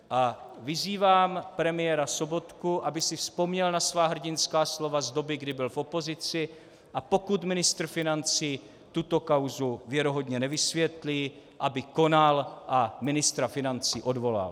A vyzývám premiéra Sobotku, aby si vzpomněl na svá hrdinská slova z doby, kdy byl v opozici, a pokud ministr financí tuto kauzu věrohodně nevysvětlí, aby konal a ministra financí odvolal.